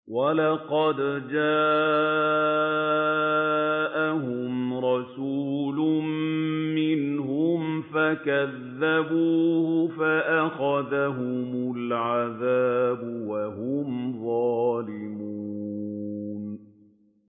وَلَقَدْ جَاءَهُمْ رَسُولٌ مِّنْهُمْ فَكَذَّبُوهُ فَأَخَذَهُمُ الْعَذَابُ وَهُمْ ظَالِمُونَ